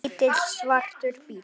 Lítill, svartur bíll.